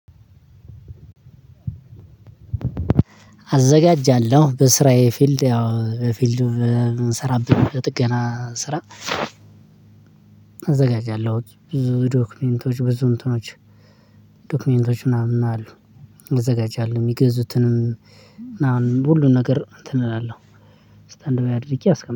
አዘጋጃለሁ በስራዬ ፊልድ ያው ፊልዱ እ ስራብን ጥገና ስራ። አዘጋጃለሁት ብዙ ዶክመንቶች ብዙ እንትኖች ዶክመንቶች ምናምን አሉ። አዘጋጃለሁ የሚገዙትንም። አሁን ሁሉን ነገር እንትን እላለሁ። ስታንድ በይ አድርጌ አስቀምጠዋለሁ